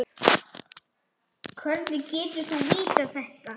Hvernig getur þú vitað þetta?